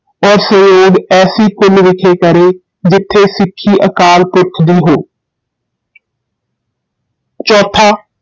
ਔਰ ਸੰਯੋਗ ਐਸੀ ਕੁਲ ਵਿਖੇ ਕਰੇ ਜਿਥੇ ਸਿੱਖੀ ਅਕਾਲ ਪੁਰਖ ਦੀ ਹੋ ਚੌਥਾ